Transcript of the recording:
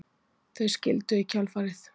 Þau skildu í kjölfarið